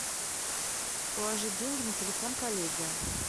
положить деньги на телефон коллеги